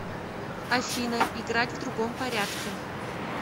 афина играть в другом порядке